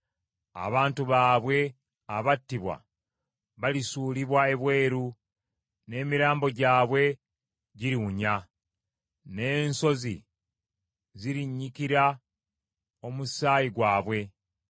Abantu baabwe abattibwa balisuulibwa ebweru, n’emirambo gyabwe giriwunya, n’ensozi zirinnyikira omusaayi gwabwe.